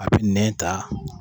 A bɛ nɛ ta